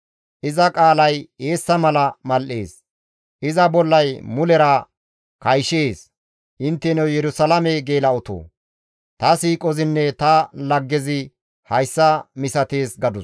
Iza qaalay eessa mala mal7ees; iza bollay mulera kayshees; Intteno Yerusalaame geela7otoo, ta siiqozinne ta laggezi hayssa misatees» gadus.